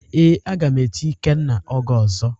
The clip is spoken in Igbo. ee, a ga m eti Ikenna oge ozo